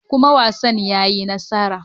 Kuma wasan ya yi nasara.